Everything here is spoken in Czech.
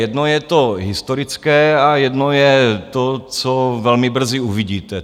Jedno je to historické a jedno je to, co velmi brzy uvidíte.